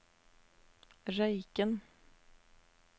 Røyken